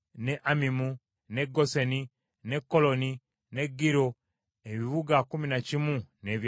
n’e Goseni, n’e Koloni, n’e Giro, ebibuga kkumi na kimu n’ebyalo byabyo.